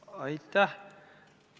Aitäh!